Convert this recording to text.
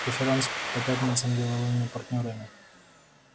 преферанс по пятницам деловыми партнёрами